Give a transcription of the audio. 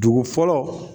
Dugu fɔlɔ